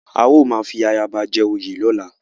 A ó máa fi ayaba jẹ oyè lọ́la.